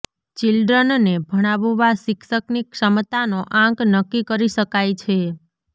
ચિલ્ડ્રનને ભણાવવા શિક્ષકની ક્ષમતાનો આંક નક્કી કરી શકાય છે